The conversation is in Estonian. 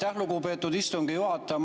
Aitäh, lugupeetud istungi juhataja!